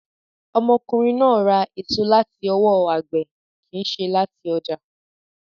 Ọmọkùnrin náà ra èso láti ọwọ́ agbẹ̀ kìí ṣe láti ọjà.